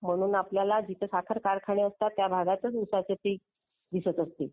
म्हणून जिथे आपल्याला साखर कारखाने असतात. त्या भागातच उसाचे पीक. दिसत असते.